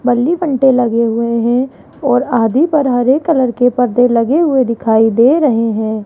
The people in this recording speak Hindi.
बल्ली बंटे लगे हुए हैं और आधी पर हरे कलर के परदे लगे हुए दिखाई दे रहे हैं।